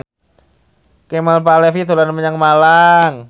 Kemal Palevi dolan menyang Malang